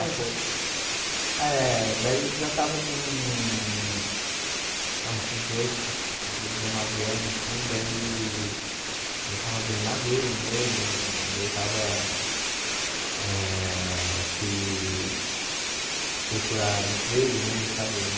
Ah, foi... Eh Daí eu já tava com ah uns dezoito, dezoito dezenove anos assim, daí eu já estava bem maduro mesmo, daí eu estava eh... fui procurar emprego mesmo, sabe?